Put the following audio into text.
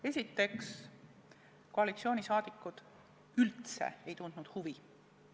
Esiteks, koalitsioonisaadikud üldse ei tundnud asja vastu huvi.